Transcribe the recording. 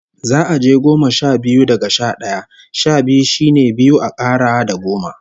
Za'a je goma sha biyu, daga sha d'aya. Sha biyu shine biyu a kara da goma.